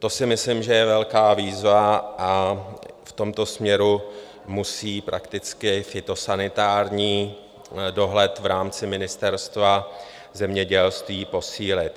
To si myslím, že je velká výzva, a v tomto směru musí prakticky fytosanitární dohled v rámci Ministerstva zemědělství posílit.